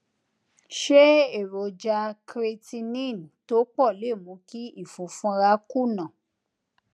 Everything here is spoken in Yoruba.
ṣé èròjà creatinine tó pò lè mú kí ìfunfunra kùnà